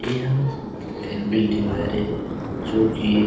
एहा एम_बी_डी हरे जो की